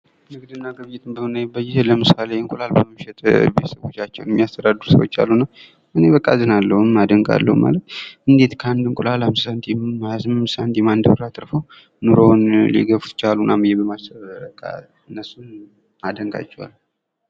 ንግድና ግብይቱን በምናይበት ጊዜለምሳሌ እንቁላሎች የተለያዩ ሰዎች ናቸው የሚያስተዳድሩ ሰዎች አሉ፤ እኔ በጣም አዝናለሁ እናደንቃለን ማለት እንዴት ከአንድ እንቁላል? 5 ሳንቲም 28 ሳንቲም 1 ብር አትርፎ ኑሮን እየገፉ ይችላሉ እናም ይመሰክራል እነሱን አደንቃቸዋለሁ።